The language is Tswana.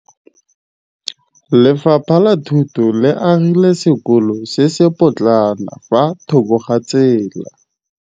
Lefapha la Thuto le agile sekôlô se se pôtlana fa thoko ga tsela.